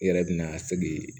I yɛrɛ bɛna se k'i